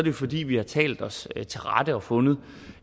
jo fordi vi har talt os til rette og fundet